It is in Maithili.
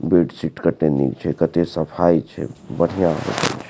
बेडशीट कते नीक छै कते सफाई बढ़िया लागे छै।